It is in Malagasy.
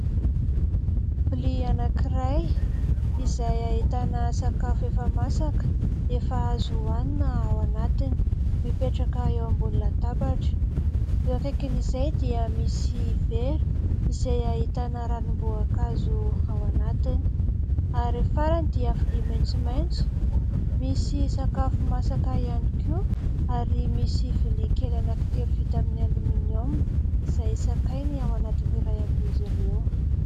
Vilia anankiray izay ahitana sakafo efa masaka efa azo ohanina ao anatiny mipetraka eo ambony latabatra. Eo akaikin'izay dia misy vera izay ahitana ranom-boankazo ao anatiny. Ary farany dia vilia maitsomaitso misy sakafo masaka ihany koa, ary misy vilia kely anankitelo vita amin'ny "aluminium" izay sakay ny ao anatin'ny iray amin'izy ireo.